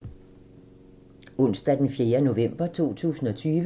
Onsdag d. 4. november 2020